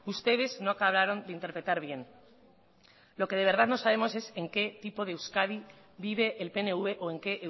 ustedes no acabaron de interpretar bien lo que de verdad no sabemos es en qué tipo de euskadi vive el pnv o en qué